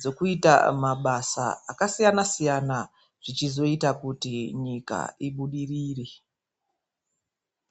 dzekuita mabasa akasiyana-siyana zvichizoita kuti nyika ibudirire.